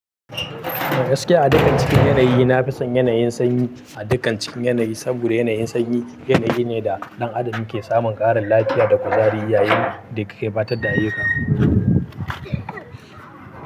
Gaskiya a dukkan cikin yanayi, na fi son yanayin sanyi a dukkan cikin yanayi, saboda yanayin sanyi yanayi ne da ɗan adam yake samun ƙarin lafiya da kuzari yayin da yake gabatar da ayyuka.